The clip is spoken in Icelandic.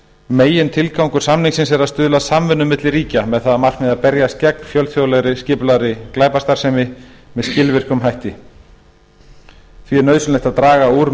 megintilgangur samningsins er að stuðla að samvinnu milli ríkja með það að markmiði að berjast gegn fjölþjóðlegri skipulagðri glæpastarfsemi með skilvirkum hætti því er nauðsynlegt að draga úr